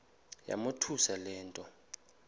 yamothusa le nto